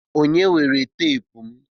Onye weere teepu m.